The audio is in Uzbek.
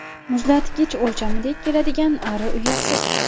Muzlatgich o‘lchamidek keladigan ari uyasi.